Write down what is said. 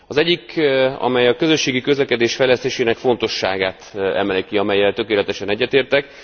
Az egyik, amely a közösségi közlekedés fejlesztésének fontosságát emeli ki, amellyel tökéletesen egyetértek.